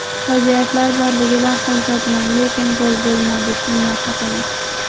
Vaziyatlar borligidan xursandman, lekin gol bo‘lmadi, shundan xafaman.